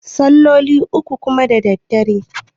salloli uku kuwa da daddare